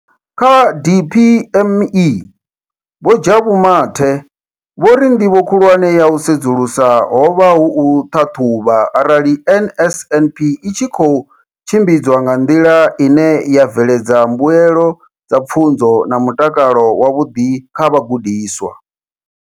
Kha DPME, Vho Jabu Mathe, vho ri ndivho khulwane ya u sedzulusa ho vha u ṱhaṱhuvha arali NSNP i tshi khou tshimbidzwa nga nḓila ine ya bveledza mbuelo dza pfunzo na mutakalo wavhuḓi kha vhagudiswa.